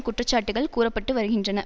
குற்றச்சாட்டுக்கள் கூற பட்டு வருகின்றன